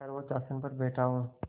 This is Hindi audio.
सर्वोच्च आसन पर बैठा हूँ